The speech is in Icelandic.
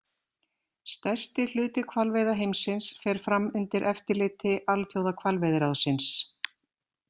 Stærsti hluti hvalveiða heimsins fer fram undir eftirliti Alþjóðahvalveiðiráðsins.